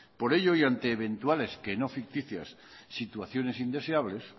por ello y ante eventuales que no ficticias situaciones indeseables